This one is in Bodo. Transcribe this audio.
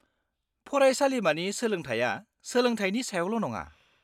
-फरायसालिमानि सोलोंथाया सोलोंथायनि सायावल' नङा।